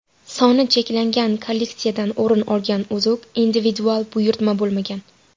Soni cheklangan kolleksiyadan o‘rin olgan uzuk individual buyurtma bo‘lmagan.